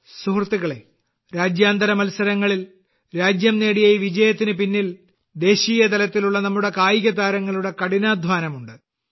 സുഹൃത്തുക്കളേ രാജ്യാന്തര മത്സരങ്ങളിൽ രാജ്യം നേടിയ ഈ വിജയത്തിന് പിന്നിൽ ദേശീയ തലത്തിലുള്ള നമ്മുടെ കായിക താരങ്ങളുടെ കഠിനാധ്വാനമുണ്ട്